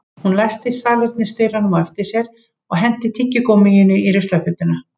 Hún læsti salernisdyrunum á eftir sér og henti tyggigúmmíinu í ruslakörfuna